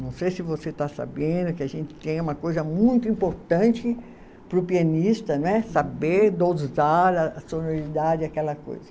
Não sei se você está sabendo que a gente tem uma coisa muito importante para o pianista, não é, saber dosar a sonoridade, aquela coisa.